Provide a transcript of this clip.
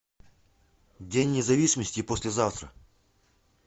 день независимости послезавтра